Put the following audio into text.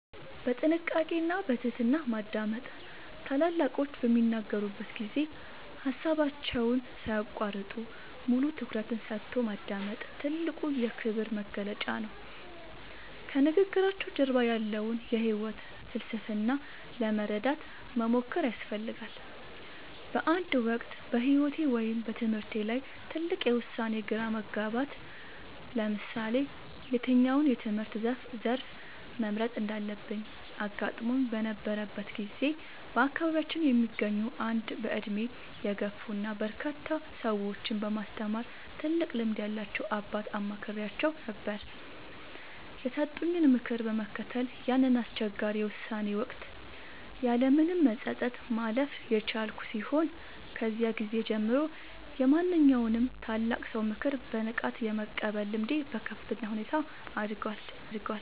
በጥንቃቄ እና በትህትና ማዳመጥ፦ ታላላቆች በሚናገሩበት ጊዜ ሃሳባቸውን ሳይያቋርጡ፣ ሙሉ ትኩረትን ሰጥቶ ማዳመጥ ትልቁ የክብር መግለጫ ነው። ከንግግራቸው ጀርባ ያለውን የህይወት ፍልስፍና ለመረዳት መሞከር ያስፈልጋል። በአንድ ወቅት በህይወቴ ወይም በትምህርቴ ላይ ትልቅ የውሳኔ ግራ መጋባት (ለምሳሌ የትኛውን የትምህርት ዘርፍ መምረጥ እንዳለብኝ) አጋጥሞኝ በነበረበት ጊዜ፣ በአካባቢያችን የሚገኙ አንድ በእድሜ የገፉ እና በርካታ ሰዎችን በማስተማር ትልቅ ልምድ ያላቸውን አባት አማክሬአቸው ነበር። የሰጡኝን ምክር በመከተል ያንን አስቸጋሪ የውሳኔ ወቅት ያለምንም መጸጸት ማለፍ የቻልኩ ሲሆን፣ ከዚያ ጊዜ ጀምሮ የማንኛውንም ታላቅ ሰው ምክር በንቃት የመቀበል ልምዴ በከፍተኛ ሁኔታ አድጓል።